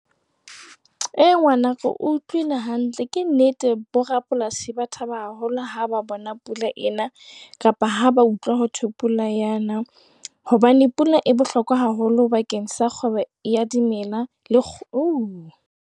Eya ngwanaka, o utlwile hantle. Ke nnete borapolasi ba thaba haholo ha ba bona pula e na kapa ha ba utlwa hothwe pula yana hobane pula e bohlokwa haholo bakeng la kgwebo ya dimela le .